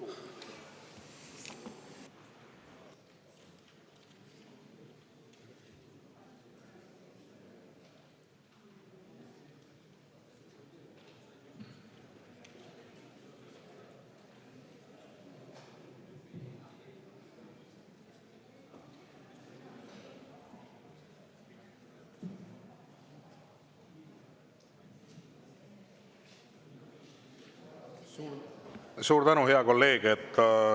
Suur tänu, hea kolleeg!